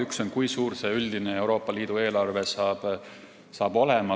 Üks on see, kui suur on üldine Euroopa Liidu eelarve.